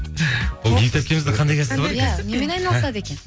бейбіт әпкеміздің қандай кәсібі бар екен иә немен айналысады екен